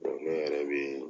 ne yɛrɛ be